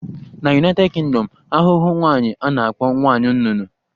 Na United Kingdom, ahụhụ nwaanyi a na-akpọ nwanyị nnụnụ